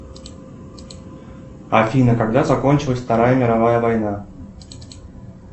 афина когда закончилась вторая мировая война